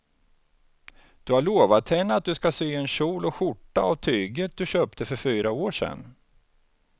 Du har lovat henne att du ska sy en kjol och skjorta av tyget du köpte för fyra år sedan.